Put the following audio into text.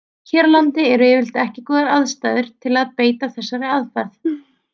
Hér á landi eru yfirleitt ekki góðar aðstæður til að beita þessari aðferð.